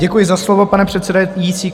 Děkuji za slovo, pane předsedající.